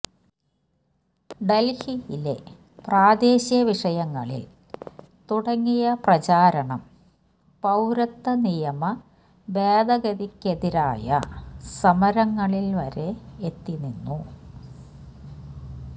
ഡൽഹിയിലെ പ്രാദേശിക വിഷയങ്ങളിൽ തുടങ്ങിയ പ്രചാരണം പൌരത്വ നിയമ ഭേദഗതിക്കെതിരായ സമരങ്ങളിൽ വരെ എത്തി നിന്നു